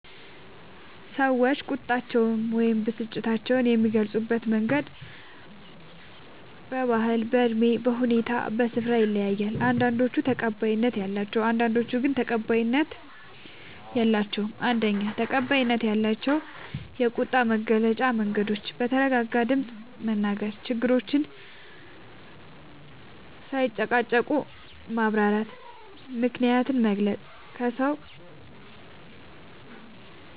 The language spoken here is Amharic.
ሰዎች ቁጣቸውን ወይም ብስጭታቸውን የሚገልጹበት መንገድ በባህል፣ በእድሜ፣ በሁኔታ እና በስፍራ ይለያያል። አንዳንዶቹ ተቀባይነት አላቸው፣ አንዳንዶቹ ግን ተቀባይነት የላቸዉም። ፩. ተቀባይነት ያላቸው የቁጣ መግለጫ መንገዶች፦ በተረጋጋ ድምፅ መናገር፣ ችግርን ሳይጨቃጨቁ ማብራራት፣ ምክንያትን መግለጽ፣